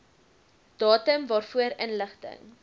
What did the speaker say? datum waarvoor inligting